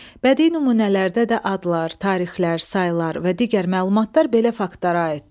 Bədii nümunələrdə də adlar, tarixlər, saylar və digər məlumatlar belə faktlara aiddir.